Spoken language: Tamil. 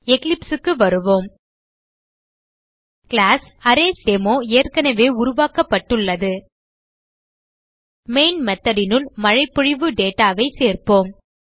Eclipse க்கு வருவோம் கிளாஸ் அரேஸ்டெமோ ஏற்கனவே உருவாக்கப்பட்டுள்ளது மெயின் method னுள் மழைபொழிவு data ஐ சேர்ப்போம்